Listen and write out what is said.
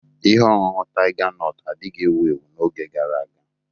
Ihe ọṅụṅụ Taiga nọtu adighị ewu ewu n'oge gara aga.